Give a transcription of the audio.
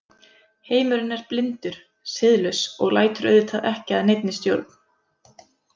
Heimurinn er blindur, siðlaus og lætur auðvitað ekki að neinni stjórn.